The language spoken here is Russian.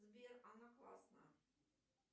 сбер она классная